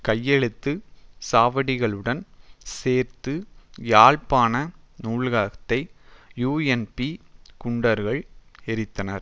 கையெழுத்து சவடிகளுடன் சேர்த்து யாழ்ப்பாண நூலகத்தை யூஎன்பி குண்டர்கள் எரித்தனர்